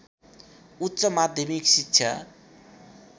उच्च माध्यमिक शिक्षा